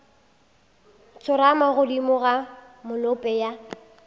tsorama godimo ga molope ya